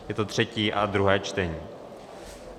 Je to třetí a druhé čtení.